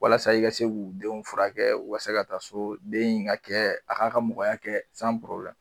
Walasa i ka se k'u denw furakɛ u ka se ka taa so den in ka kɛ a k'a ka mɔgɔya kɛ